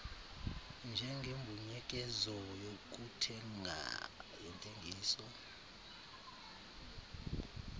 njengembuyekezo yokuthenga yentengiso